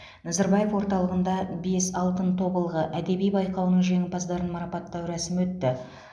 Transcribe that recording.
назарбаев орталығында бес алтын тобылғы әдеби байқауының жеңімпаздарын марапаттау рәсімі өтті